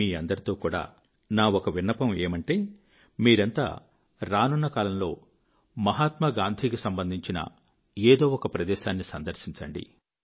మీ అందరితో కూడా నా ఒక విన్నపమేమిటంటే మీరంతా రానున కాలంలో మహాత్మాగాంధీ కి సంబంధించిన ఏదో ఒక ప్రదేశాన్ని సందర్శించండి